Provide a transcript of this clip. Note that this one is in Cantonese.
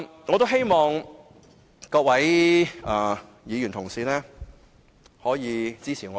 我希望各位議員可以支持我的議案。